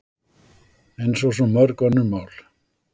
Eins og svo mörg önnur mál.